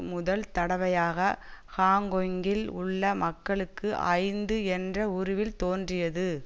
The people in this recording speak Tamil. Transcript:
முதல் தடவையாக ஹாங்கொங்கில் உள்ள மக்களுக்கு ஐந்து என்ற உருவில் தோன்றியது